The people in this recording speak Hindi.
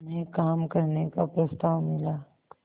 में काम करने का प्रस्ताव मिला